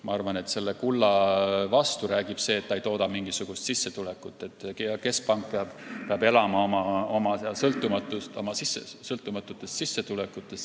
Ma arvan, et kulla vastu räägib asjaolu, et ta ei tooda mingisugust sissetulekut, keskpank peab aga elama oma sõltumatutest sissetulekutest.